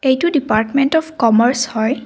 এইটো department of commerce হয়।